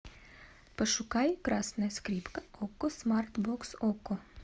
пошукай красная скрипка окко смарт бокс окко